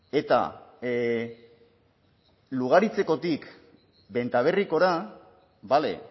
eta lugaritzekotik bentaberrikora bale